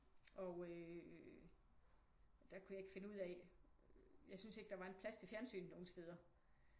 Og øh der kunne jeg ikke finde ud af jeg synes ikke der var en plads til fjernsyn nogen steder